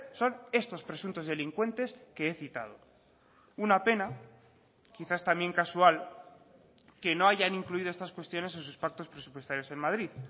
son estos presuntos delincuentes que he citado una pena quizás también casual que no hayan incluido estas cuestiones en sus pactos presupuestarios en madrid